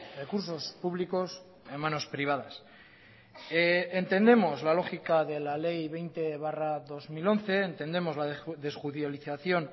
recursos públicos en manos privadas entendemos la lógica de la ley veinte barra dos mil once entendemos la desjudicialización